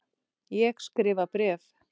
Ég skrifa bréf!